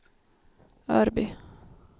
Örby